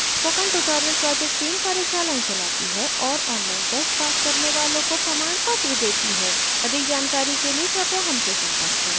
spoken tutorial project team कार्यशालाएं चलाती है और online test pass करने वालों को प्रमाणपत्र देती है अधिक जानकारी के लिए कृपया हमसे संपर्क करें